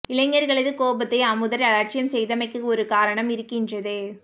இளைஞர்களது கோபத்தை அமுதர் அலட்சியம் செய்தமைக்கு ஒரு காரணம் இருக்கின்றது